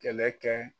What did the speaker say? Kɛlɛ kɛ